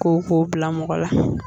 Koko bila mɔgɔ la